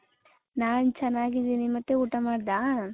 ನನ್ ಚೆನ್ನಾಗಿದ್ದೀನಿ ಮತ್ತೆ ಊಟ ಮಾಡ್ದ .